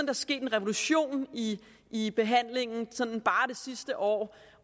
er sket en revolution i i behandlingen sådan bare det sidste år